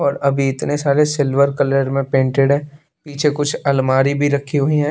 और अभी इतने सारे सिल्वर कलर में पेंटेड है पीछे कुछ अलमारी भी रखी हुई है।